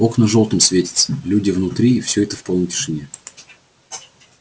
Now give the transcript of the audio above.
окна жёлтым светятся люди внутри и всё это в полной тишине